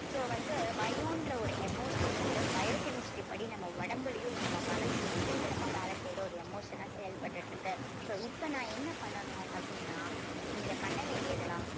so வந்து பயம்ன்ற ஒரு emotion வந்து bio chemistry படி நம்ம உடம்புலயும் நம்ம மனசுலயும் சீக்கிரமா வேலை செய்யற ஒரு emotion ஆ செயல்பட்டுட்டு இருக்கு so இப்ப நான் என்ன பண்ணணும் அப்படின்னா நீங்க பண்ண வேண்டியது எல்லாம்